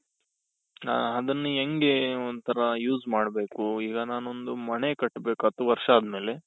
ಹ ಅದನ್ನ ಹೆಂಗೆ ಒಂತರ use ಮಾಡ್ಬೇಕು ಈಗ ನಾನೊಂದು ಮನೆ ಕಟ್ಬೇಕು ಹತ್ತು ವರ್ಷ ಆದ್ಮೇಲೆ.